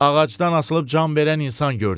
Ağacdan asılıb can verən insan gördüm.